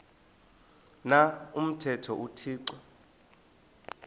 na umthetho uthixo